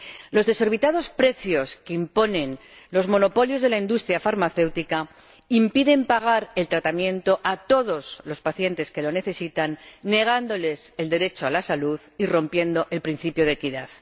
Los desorbitados precios que imponen los monopolios de la industria farmacéutica impiden pagar el tratamiento a todos los pacientes que lo necesitan, negándoles el derecho a la salud y rompiendo el principio de equidad.